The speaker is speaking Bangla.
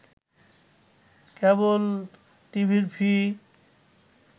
কেবল টিভির ফি